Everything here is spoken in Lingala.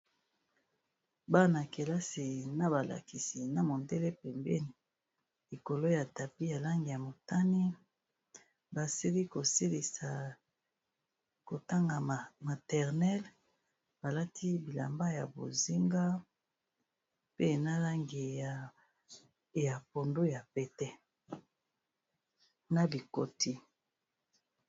Bana kelasi na ba lakisi na mondele pembeni likolo ya tapis ya langi ya motani, basili ko silisa ko tanga maternel ba lati bilamba ya bozinga pe na langi ya pondu ya pete na bikoti.